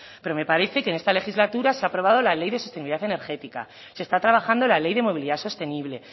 pero me parece que en esta legislatura se ha aprobado la ley de sostenibilidad energética se está trabajando la ley de movilidad sostenible